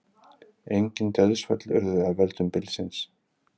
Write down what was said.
Engin dauðsföll urðu af völdum bylsins